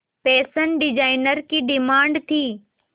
fashion designer की demand थी